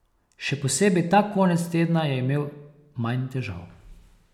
Še posebej ta konec tedna je imel manj težav.